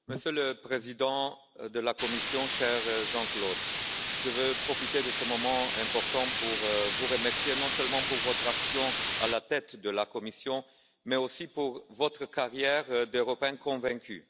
Monsieur le Président de la Commission, cher Jean Claude, je veux profiter de ce moment important pour vous remercier, non seulement pour votre action à la tête de la Commission, mais aussi pour votre carrière d'Européen convaincu.